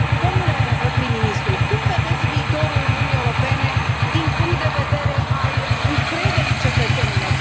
Domnule prim ministru, cum vedeți viitorul Uniunii Europene, din punctul de vedere al încrederii cetățenilor?